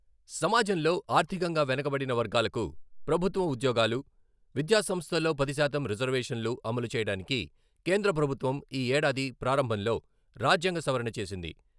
సమాజంలో ఆర్థికంగా వెనుకబడిన వర్గాలకు ప్రభుత్వం ఉద్యోగాలు, విద్యాసంస్థల్లో పది శాతం రిజర్వేషన్లు అమలు చేయడానికి కేంద్రప్రభుత్వం ఈ ఏడాది ప్రారంభంలో రాజ్యాంగ సవరణ చేసింది.